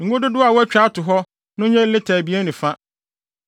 Ngo dodow a wɔatwa ato hɔ no nyɛ lita abien ne fa.